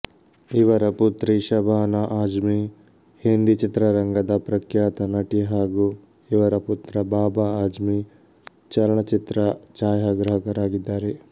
ಇವರ ಪುತ್ರಿ ಶಬಾನ ಆಜ಼್ಮಿ ಹಿಂದಿ ಚಿತ್ರರಂಗದ ಪ್ರಖ್ಯಾತ ನಟಿ ಹಾಗು ಇವರ ಪುತ್ರ ಬಾಬಾ ಆಜ಼್ಮಿ ಚಲನಚಿತ್ರ ಛಾಯಾಗ್ರಾಹಕರಾಗಿದ್ದಾರೆ